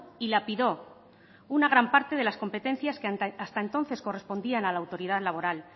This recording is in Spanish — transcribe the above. y lapidó una gran parte de las competencias que hasta entonces correspondían a la autoridad laboral